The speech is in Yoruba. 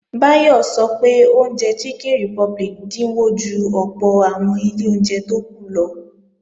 Báyọ̀ sọ pé oúnjẹ Chicken Republic dínwó ju ọ̀pọ̀ àwọn ilé oúnjẹ tó kù lọ